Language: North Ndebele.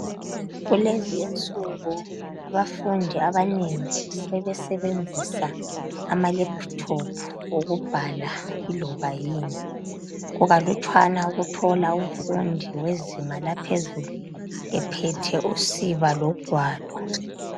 Kulezi insuku abafundi abanengi sebesebenzisa amalalephuthophu ukubhala kungaloba yini. kukalutshwane ukuthola umfundi wezinga laphezulu ephethe usiba logwalo.